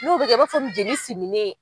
N'o bɛ kɛ i b'a fɔ min jeli similen.